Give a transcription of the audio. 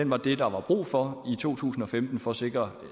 var det der var brug for i to tusind og femten for at sikre